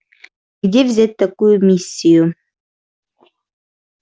где взять такую миссию